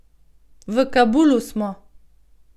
V Kabulu smo.